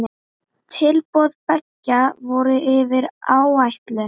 Tilboð beggja voru yfir áætlun.